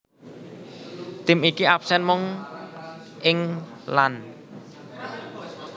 Tim iki absèn mung ing lan